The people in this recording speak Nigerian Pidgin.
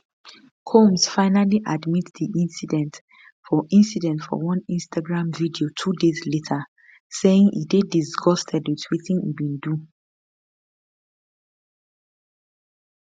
combs finally admit di incident for incident for one instagram video two days later saying e dey disgusted with wetin e bin do